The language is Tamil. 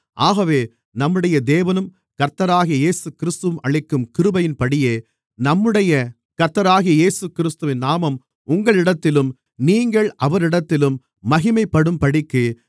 ஆகவே நம்முடைய தேவனும் கர்த்தராகிய இயேசுகிறிஸ்துவும் அளிக்கும் கிருபையின்படியே நம்முடைய கர்த்தராகிய இயேசுகிறிஸ்துவின் நாமம் உங்களிடத்திலும் நீங்கள் அவரிடத்திலும் மகிமைப்படும்படிக்கு